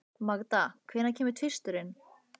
Magda, hvenær kemur tvisturinn?